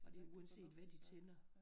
Og det er uanset hvad de tænder